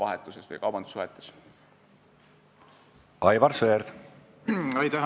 Aitäh, austatud juhataja!